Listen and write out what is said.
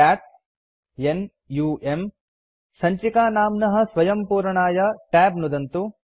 cat n u म् संचिकानाम्नः स्वयं पूरणाय tab नुदन्तु